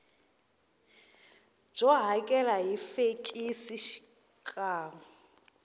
byo hakela hi fekisi xikan